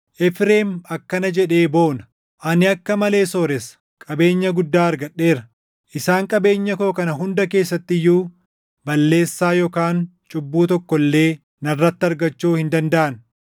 Efreem akkana jedhee boona; “Ani akka malee sooressa; qabeenya guddaa argadheera. Isaan qabeenya koo kana hunda keessatti iyyuu balleessaa yookaan cubbuu tokko illee // narratti argachuu hin dandaʼan.”